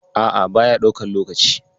A'a, baya ɗaukan lokaci.